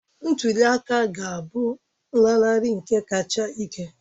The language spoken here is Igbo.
Ntuli aka a ga-abụ nlanarị nke kacha ike